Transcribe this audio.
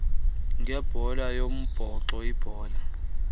ngebhola yombhoxo ibhola